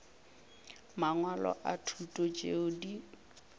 mangwalo a thuto tšeo di